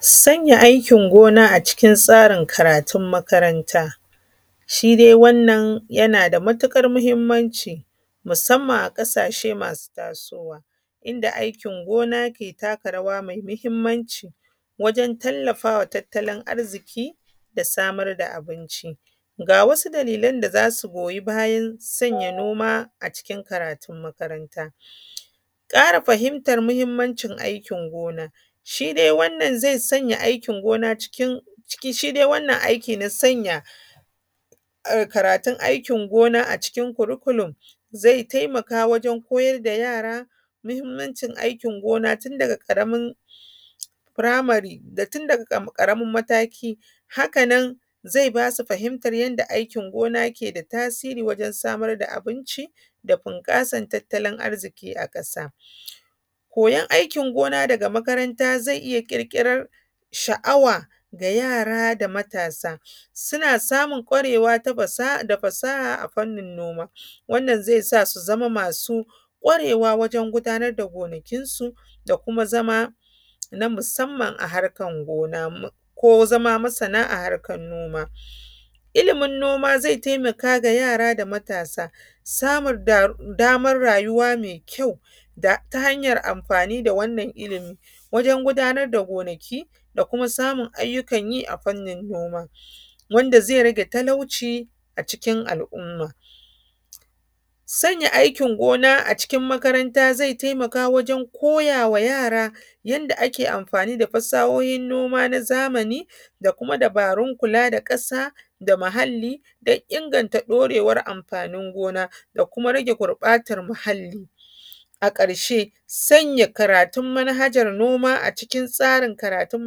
Sanya aikin gona a cikin tsarin karatun makaranta. Shi dai wannan yana da matuƙar muhimmanci musamman a ƙasashe m,asu tasowa, inda aiki gona ke taka rawa mai muhimmanci wahen tallafawa tattalin arziki, da samar da abinci. Ga wasu dalilan da za su goyi bayan sanya noma a cikin karatun makaranta. Ƙara fahimtar muhimmancin aikin gona. Shi dai wannan zai sanya aikin gona cikin, shi dai wannan aikin na sanya karatun aikin gona a cikin curriculum zai taimaka wajen koyar da yara muhimmancin aikin gona tun daga ƙaramin firamare, tu daga amin mataki haka nan zai ba su fahimtar yadda aikin gona ke da tasiri wajen samar da abinci da bunƙasar tattalin arziki a ƙasa. Koyan aikin gona daga makaranta zai iya ƙirƙirar sha’awa ga yara da matasa, suna samun ƙwarewa da fasaha a fannin noma, wannan zai sa su zama masu ƙwarewa wajen gudanar da gonakinsu da kuma zama na musamman a harkan gona, ko zama masana a harkan noma. Ilimin noma zai taimaka ga yara da matasa, samar da damar rayuwa mai kyau da ta hanyar amfani da wannan ilimi wajen gudanar da gonaki da kuma samun ayyukan yi a fannin noma, wanda zai rage talauci a cikin al’umma. Sanya aikin gona a cikin makaranta zai taimaka wajen koya wa yara yanda ake amfani da fasahohin noma na zamani da kuma dabarun kula da ƙasa da muhalli don inganta ɗorewar amfanin gona da kuma rage gurɓatan muhalli. A ƙarshe sanya karatun manhajar noma a cikin tsarin karatun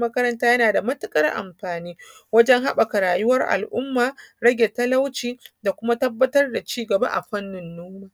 makaranta yana da matuƙar amafani wajen haɓɓaka rayuwar al’umma, rage talauci da kuma tabbatar da cigaba a fannin noma.